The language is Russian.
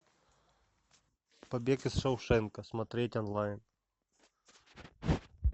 побег из шоушенка смотреть онлайн